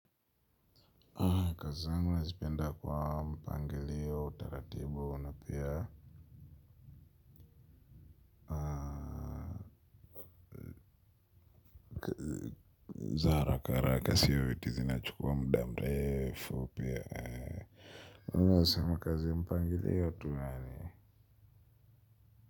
Kazi yangu nazipenda kwa mpangilio utaratibu na pia za haraka haraka sio vitu zinachukua mudaa mrefu pia sema kazi mpangiliyo tu yani.